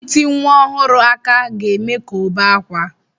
Ịti nwa ọhụrụ aka ga-eme ka ọ bee ákwá.